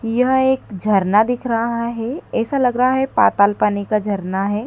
यहां एक झरना दिख रहा हैं ऐसा लग रहा है पाताल पानी का झरना हैं।